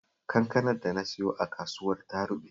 Kankanar da na siyo a kasuwar ta ruɓe